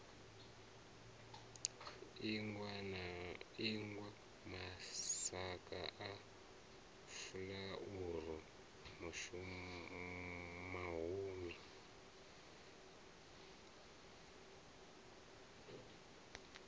ingwa masaga a furaru mahumi